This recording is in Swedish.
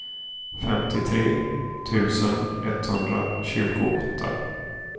femtiotre tusen etthundratjugoåtta